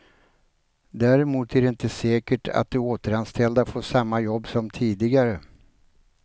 Däremot är det inte säkert att de återanställda får samma jobb som tidigare.